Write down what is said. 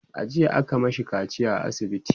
e jiya aka mashi kaciya a asibiti